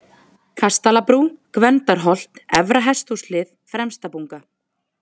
Kastalabrú, Gvendarholt, Efra-Hesthúshlið, Fremstabunga